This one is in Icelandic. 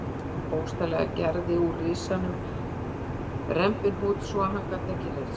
Hann bókstaflega gerði úr risanum rembihnút svo að hann gat ekki hreyft sig.